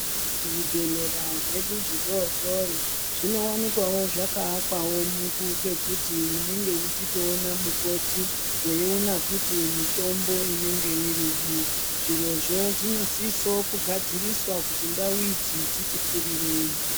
Zvibhedhlera zvedu zvidodori zvinowanikwa zvakaakwa pekuti munenge muchitoona mukoti, weiona futi mitombo inenge irimwo. Zvirozvo zvinosiso kugadziriswa kuti ndau idzi dzitikurirei.